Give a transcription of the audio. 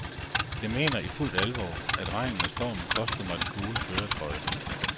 Jeg mener i fuldt alvor, at regnen og stormen kostede mig den gule førertrøje.